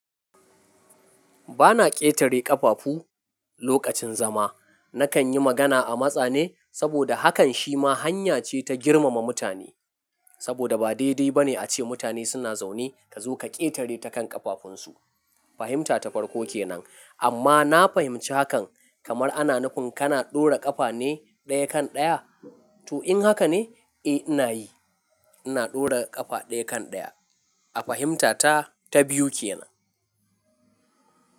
Ba na ƙetare ƙafafu lokacin zama. Nakan yi magana a matsa ne saboda hakan shi ma hanya ce ta girmama mutane. Saboda ba daidai ba ne a ce mutane suna zaune ka zo ka ƙetare ta kan ƙafafunsu. Fahimta ta farko ke nan, amma na fahimci hakan kamar ana nufin kana ɗora ƙafa ne ɗaya kan ɗaya. To in haka ne? Eh ina yi. Ina ɗora ƙafa ɗaya kan ɗaya. A fahimta ta, ta biyu ke nan.